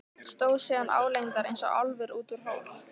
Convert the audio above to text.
Stóð síðan álengdar eins og álfur út úr hól.